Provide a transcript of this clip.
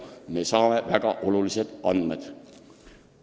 Me saame nii väga olulised andmed.